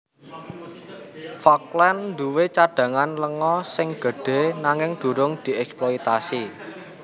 Falkland duwé cadhangan lenga sing gedhé nanging durung dièksploitasi